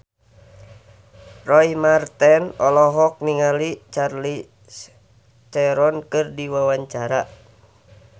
Roy Marten olohok ningali Charlize Theron keur diwawancara